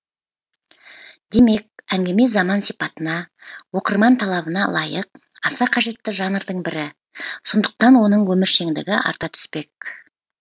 демек әңгіме заман сипатына оқырман талабына лайық аса қажетті жанрдың бірі сондықтан оның өміршеңдігі арта түспек